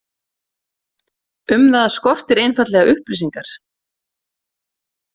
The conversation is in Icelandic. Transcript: Um það skortir einfaldlega upplýsingar.